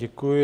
Děkuji.